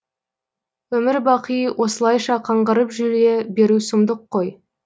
өмір бақи осылайша қаңғырып жүре беру сұмдық қой